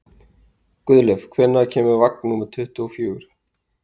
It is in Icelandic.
Guðleif, hvenær kemur vagn númer tuttugu og fjögur?